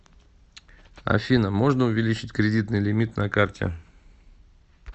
афина можно увеличить кредитный лимит на карте